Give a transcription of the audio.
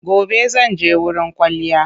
Gobe zan je wurin kwalliya.